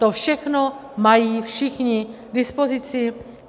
To všechno mají všichni k dispozici.